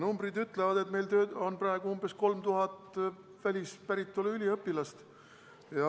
Numbrid ütlevad, et meil on praegu umbes 3000 välispäritolu üliõpilast.